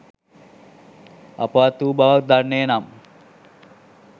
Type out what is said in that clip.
අපවත් වූ බවක් දන්නේ නම්